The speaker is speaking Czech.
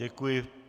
Děkuji.